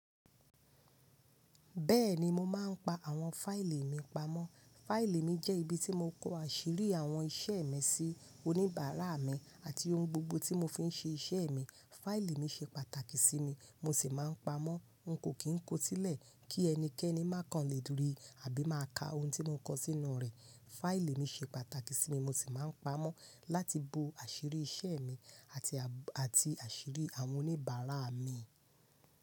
Bẹ́ẹ̀ni, mo máa ń pa àwọn fáìlì mi pamọ́. Fáìlì mi jẹ́ ibi tí mo kó àṣírí àwọn iṣẹ́ mi sí, oníbàárà mi àti ohun gbogbo tí mo fi ń ṣe iṣẹ́ mi. Fáìlì mi se pàtàkì sí mi, mo sì máa ń pamó. N kò kì n kó sílẹ̀ kí ẹnikẹ́ni má kan lè rí, àbí máa ka ohun tí mo kó sínú rẹ̀. Fáìlì mi ṣe pàtàkì sí mi mo sì máa ń pamọ́ láti bo àṣírí iṣẹ́ mi àti, àti àṣírí àwọn oníbàárà mi.